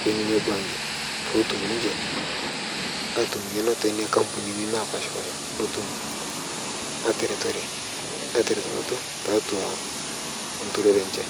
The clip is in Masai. teine benki pee epuo ninje atum eng'eno too Nona ambunini napashipasha netum ataretunoto tiatua enturore enye